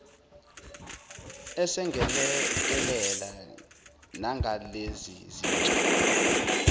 esengelekelela nangalezi zitsha